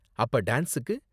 அப்ப டான்ஸுக்கு?